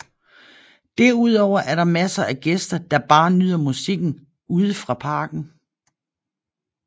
Derudover er der masser af gæster der bare nyder musikken ude fra parken